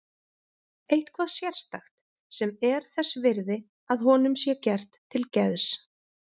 Eitthvað sérstakt sem er þess virði að honum sé gert til geðs.